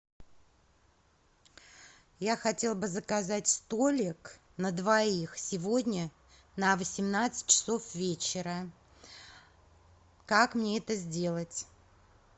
я хотела бы заказать столик на двоих сегодня на восемнадцать часов вечера как мне это сделать